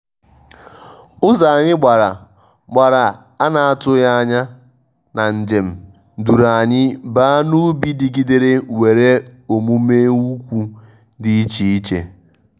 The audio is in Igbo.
ụzọ anyị gbàrà gbàrà ana-atụghị ányá na njem duru anyị baa n'ubi digidere nwèrè omume ukwu dị iche iche.